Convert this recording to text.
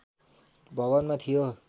भवनमा थियो